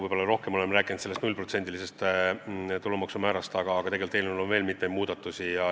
Võib-olla rohkem oleme rääkinud nullprotsendilisest tulumaksu määrast, aga tegelikult oleme eelnõus teinud ka mitmeid muid muudatusi.